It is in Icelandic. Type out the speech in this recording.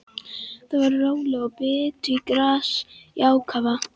Þau voru róleg og bitu gras í ákafa.